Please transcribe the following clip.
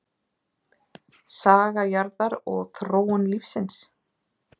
Saga jarðar og þróun lífsins.